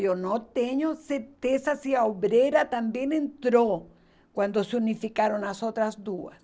Eu não tenho certeza se a obreira também entrou quando se unificaram as outras duas.